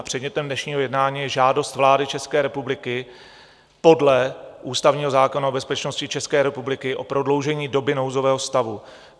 A předmětem dnešního jednání je žádost vlády České republiky podle ústavního zákona o bezpečnosti České republiky o prodloužení doby nouzové stavu.